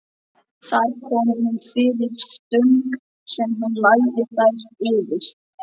Þar kom hún fyrir stöng sem hún lagði þær yfir.